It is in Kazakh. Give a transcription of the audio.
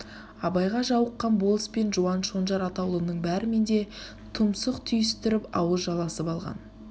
абайға жауыққан болыс пен жуан шонжар атаулының бәрімен де түмсықтүйістіріп ауыз жаласып алған